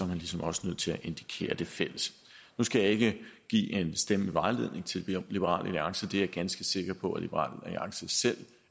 man ligesom også nødt til at indikere det fælles nu skal jeg ikke give en stemmevejledning til liberal alliance er ganske sikker på at liberal alliance selv